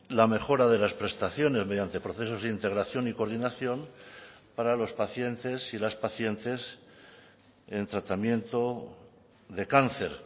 la mejora de las prestaciones mediante procesos de integración y coordinación para los pacientes y las pacientes en tratamiento de cáncer